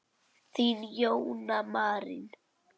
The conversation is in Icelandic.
Þín, Jóna Marín.